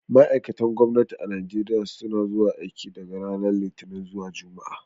Ma'aikatan gwamnati a Najeriya suna zuwa aiki daga ranar Litinin zuwa Juma'a.